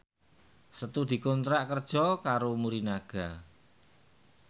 Setu dikontrak kerja karo Morinaga